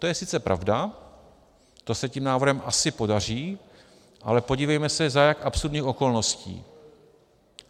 To je sice pravda, to se tím návrhem asi podaří, ale podívejme se, za jak absurdních okolností.